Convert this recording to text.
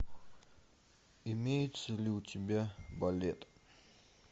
имеется ли у тебя балет